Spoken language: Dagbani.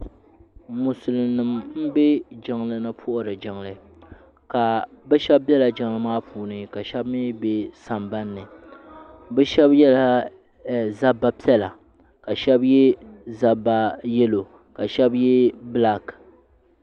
Musulin nima m be jiŋli ni m puhiri jiŋli ka sheba biɛla jiŋli ni puhiri jiŋli ka sheba mee be sambanni bɛ sheba yela zabba piɛla ka sheba ye zabba yelo ka sheba ye bilaaki.